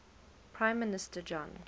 prime minister john